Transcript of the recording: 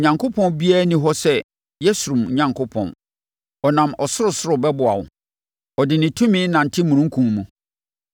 “Onyankopɔn biara nni hɔ sɛ Yeshurun Onyankopɔn; Ɔnam ɔsorosoro bɛboa wo, ɔde ne tumi nante omununkum mu.